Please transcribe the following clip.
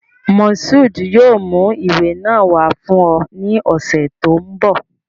Mashood yoo mu iwe naa wa fun ọ ni ọsẹ to nbọ